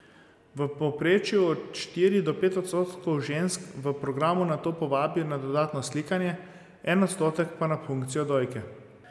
V povprečju od štiri do pet odstotkov žensk v programu nato povabijo na dodatno slikanje, en odstotek pa na punkcijo dojke.